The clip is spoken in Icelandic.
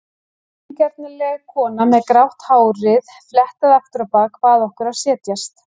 Vingjarnleg kona með grátt hárið fléttað aftur á bak bað okkur að setjast.